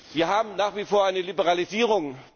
Wir haben nach wie vor eine Liberalisierung.